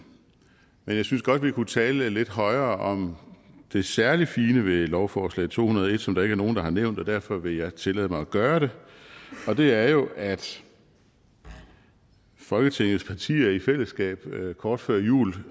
jeg synes godt vi kunne tale lidt højere om det særlig fine ved lovforslag to hundrede og en som der ikke er nogen der har nævnt derfor vil jeg tillade mig at gøre det og det er jo at folketingets partier i fællesskab kort før jul